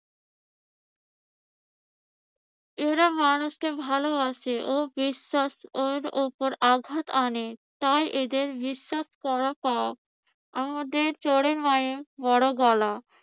এরা মানুষকে ভালোবাসে ও বিশ্বাসের উপর আঘাত হানে। তাই এদের বিশ্বাস করা পাপ। আমাদের চোরের মায়ের বড় গলা।